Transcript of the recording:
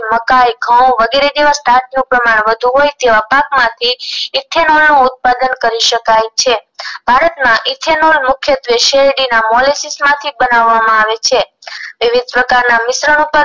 મકાઇ ઘઉ વગેરે જેવા પાક નું પ્રમાણ વધારે હોય તેવા પાક માંથી ethanol નું ઉત્પાદન કરી શકાય છે ભારતમાં ethanol મુખ્યત્વે શેરડીના molesis માંથી બનાવમા આવે છે વિવિધ પ્રકારના મિશ્રણ